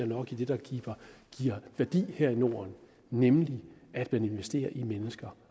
nok i det der giver værdi her i norden nemlig det at investere i mennesker